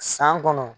San kɔnɔ